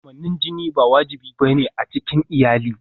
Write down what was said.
Kamannin jiki ba wajibi ba ne a cikin iyali.